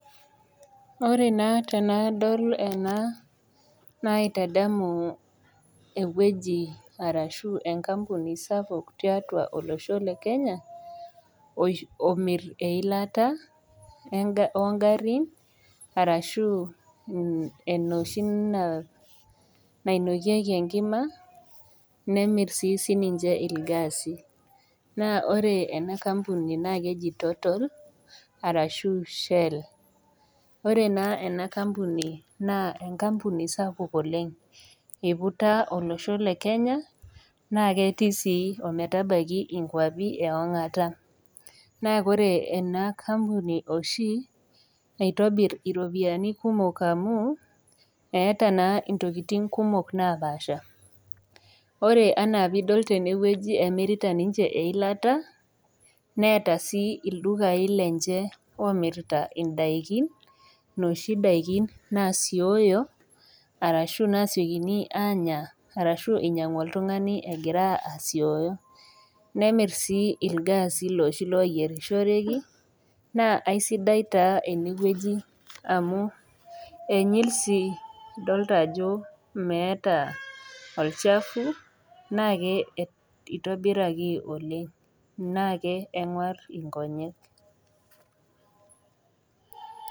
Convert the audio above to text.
Ore taa tenadol ena naitadamu ewueji arashu enkampuni sapuk tiatua olosho le Kenya, omir eilata oo ngarin arashu enoshi nainokieki enkima, nemir sii sininche ilgasi. Naa ore ena kampuni naa keji Total, arashu shell. Ore naa ena kampuni naa enkampuni sapuk oleng', eiputa olosho le Kenya, naa ketii sii ometabaiki inkwapi e ong'ata. Naa ore ena kampuni oshi, eitobir iropiani kumok amu, eata intokitin kumok napaasha. Ore anaa pee idol tenewueji emirita ninche eilata, neata sii ildukain lenye oomirita indaikin, nooshi daikin nasioyo, arashu nasiokini aanya arashu nainyang'u oltung'ani egira asioyi. Nemir sii ilgasi looshi loyieeishoreki, naa aisidai SI ene wueji amu enyil sii nadolita ajo meata olchafu, naake eitobiraki oleng', naa keng'war inkonyek.